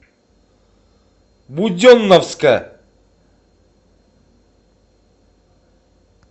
буденновска